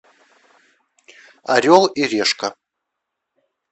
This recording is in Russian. орел и решка